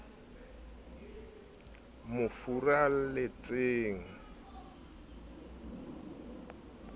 mo furalletseng ha a sa